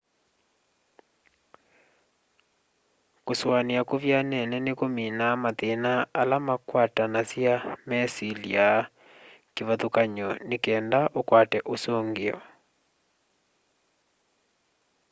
kusuania kuvyanene nikuminaa mathina ala makwatanasya mesilya kivathukany'o nikenda ukwate usungio